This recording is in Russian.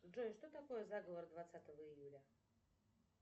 джой что такое заговор двадцатого июля